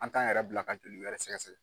An t'an yɛrɛ bila ka joli wɛrɛ sɛgɛsɛgɛ.